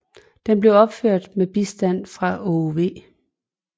Den blev opført med bistand fra Aage V